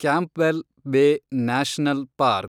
Campbell Bay National park